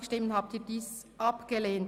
Sie haben den Ordnungsantrag 6 abgelehnt.